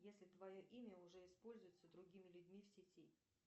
если твое имя уже используется другими людьми в сети